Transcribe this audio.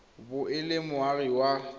bo e le moagi wa